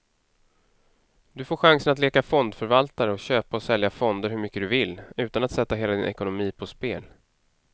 Du får chansen att leka fondförvaltare och köpa och sälja fonder hur mycket du vill, utan att sätta hela din ekonomi på spel.